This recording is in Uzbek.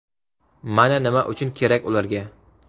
Mana nima uchun kerak ularga.